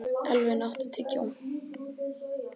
Elvin, áttu tyggjó?